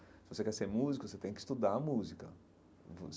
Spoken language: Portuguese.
Se você quer ser músico, você tem que estudar música.